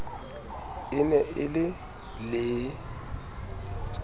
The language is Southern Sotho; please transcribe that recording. e ne e le le